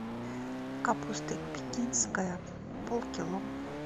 капуста пекинская полкило